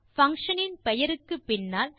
function இன் பெயருக்குப் பின்னால்